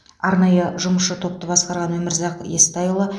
арнайы жұмысшы топты басқарған өмірзақ естайұлы